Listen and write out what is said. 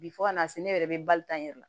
Bi fo ka na se ne yɛrɛ bɛ bali ta n yɛrɛ la